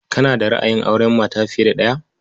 Kana da ra'ayin auren mata fiye da ɗaya?